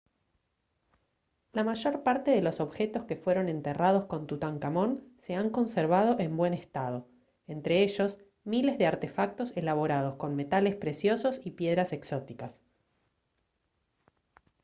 la mayor parte de los objetos que fueron enterrados con tutankamón se han conservado en buen estado entre ellos miles de artefactos elaborados con metales preciosos y piedras exóticas